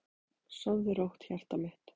Sofðu rótt, hjartað mitt.